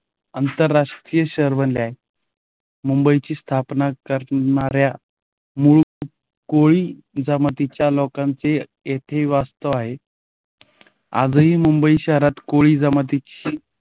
आंतरराष्ट्रीय शहर बनले आहे. मुंबईची स्थापना करणार्‍या मूळ कोळी जमातीच्या लोकांचे येथे वास्तव आहे. आजही मुंबई शहरात कोळी जमातीची.